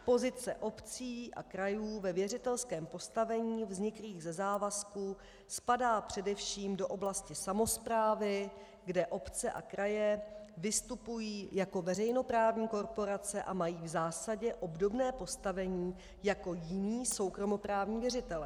Pozice obcí a krajů ve věřitelském postavení vzniklém ze závazků spadá především do oblasti samosprávy, kde obce a kraje vystupují jako veřejnoprávní korporace a mají v zásadě obdobné postavení jako jiní soukromoprávní věřitelé.